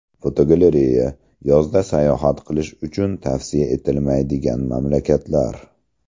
Fotogalereya: Yozda sayohat qilish uchun tavsiya etilmaydigan mamlakatlar.